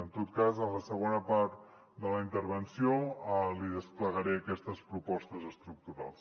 en tot cas en la segona part de la intervenció li desplegaré aquestes propostes estructurals